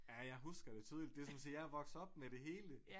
Ja jeg husker det tydeligt det som at sige jeg er vokset op med det hele